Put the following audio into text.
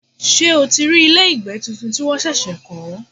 Ṣé o ti rí ilé ìgbé tuntun tí wọ́n ṣẹ̀ṣẹ̀ kọ́?